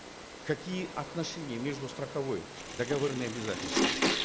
какие отношения между страховой договорные обязательства